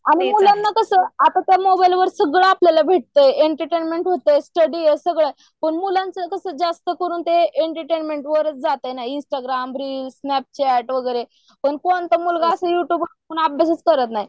आणि मुलांना कसं अत्ता तर मोबाईल वरत सगळं आपल्याला भेटतं एंटर्टेंमेंट होतय, स्टडी ये सगळं ये पण मुलांच कसं जास्त करून ते एन्टरटेनमेन्ट वरच जातंय इंस्टाग्राम, रिल्स ,स्नॅपचॅट वगैरे पण कोणता मुलगा असं युट्युब बघून अभ्यास करत नाही